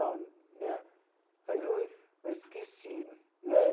Né aí eu eu esqueci né.